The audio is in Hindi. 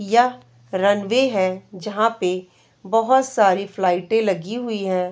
यह रनवे है जहाँ पे बोहोत सारी फ्लाइटें लगी हुई हैं।